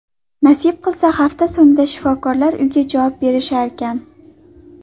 Nasib qilsa, hafta so‘nggida shifokorlar uyga javob berisharkan.